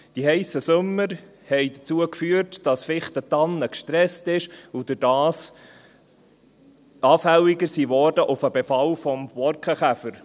Die heissen Sommer haben dazu geführt, dass die Fichte und die Tanne gestresst sind und dadurch anfälliger wurden auf den Befall des Borkenkäfers.